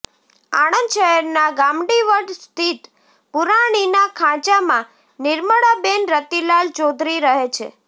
આણંદ શહેરના ગામડીવડ સ્થિત પુરાણીના ખાંચામાં નિર્મળાબેન રતિલાલ ચૌધરી રહે છે